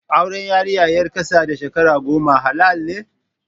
Auren yarinya ƴar ƙasa da shekara goma halal ne?